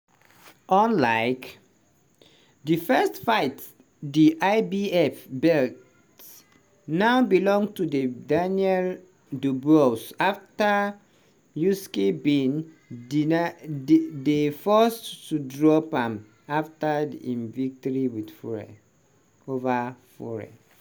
unlike di first fight di ibf belt now belong to de daniel dubois afta usyk bin dedeny dey forced to drop am afta im victory ova fury.